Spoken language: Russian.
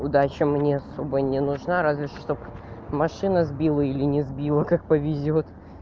удача мне особо не нужна разве чтоб машина сбила или не сбила как повезёт